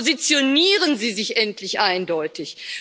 Positionieren Sie sich endlich eindeutig.